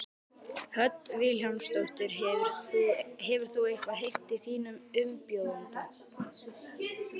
Hödd Vilhjálmsdóttir: Hefur þú eitthvað heyrt í þínum umbjóðanda?